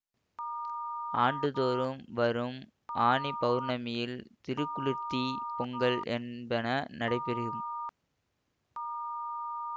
ஆண்டுதோறும் வரும் ஆனி பௌர்ணமியில் திருக்குளிர்த்தி பொங்கல் என்பன நடைபெறும்